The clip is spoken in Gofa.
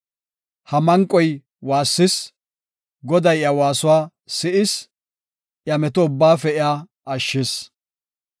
Ha manqoy waassis; Goday iya waasuwa si7is; iya meto ubbaafe iya ashshis.